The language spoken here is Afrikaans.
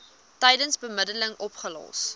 tydens bemiddeling opgelos